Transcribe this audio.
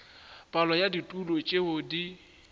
palo ya ditulo tšeo di